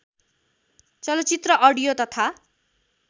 चलचित्र अडियो तथा